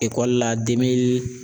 Ekɔli la